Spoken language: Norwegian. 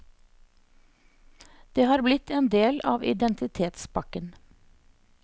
Det har blitt en del av identitetspakken.